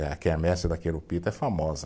A quermesse da é famosa.